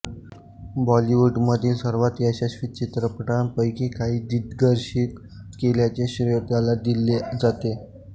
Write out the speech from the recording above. बॉलिवूडमधील सर्वात यशस्वी चित्रपटांपैकी काही दिग्दर्शित केल्याचे श्रेय त्याला दिले जाते